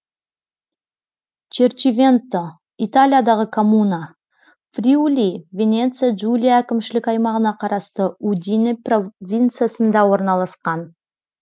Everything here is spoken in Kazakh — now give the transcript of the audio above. черчивенто италиядағы коммуна фриули венеция джулия әкімшілік аймағына қарасты удине провинциясында орналасқан